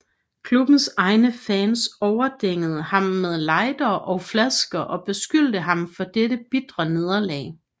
Klubbens egne fans overdængede ham med lightere og flasker og beskyldte ham for dette bitre nederlag